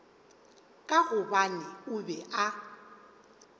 ka gobane o be a